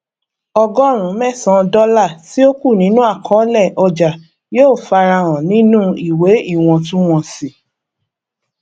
ọgọrùn mẹsan dọlà tí ó kù nínú àkọolé ọjà yóò fara hàn nínú ìwé iwọntúnwọnsì